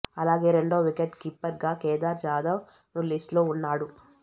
అలాగే రెండవ wicket keeper గా కేదార్ జాదవ్ ను లిస్ట్ లో ఉన్నాడు